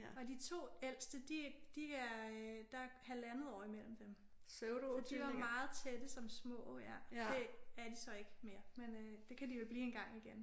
Og de 2 ældste de de er øh der er halvandet år imellem dem så de var meget tætte som små. Det er de så ikke mere men øh det kan de jo blive engang igen